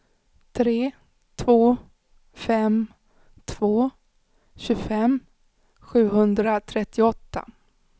tre två fem två tjugofem sjuhundratrettioåtta